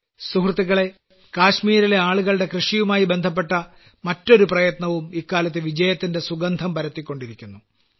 സുഹൃത്തുക്കളേ കാശ്മീരിലെ ആളുകളുടെ കൃഷിയുമായി ബന്ധപ്പെട്ട മറ്റൊരു പ്രയത്നവും ഇക്കാലത്ത് വജയത്തിന്റെ സുഗന്ധം പരത്തിക്കൊണ്ടിരിക്കുന്നു